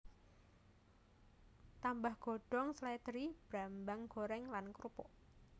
Tambah godhong slèdri brambang goreng lan krupuk